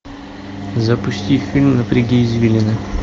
запусти фильм напряги извилины